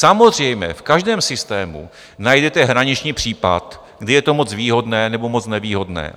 Samozřejmě, v každém systému najdete hraniční případ, kdy je to moc výhodné nebo moc nevýhodné.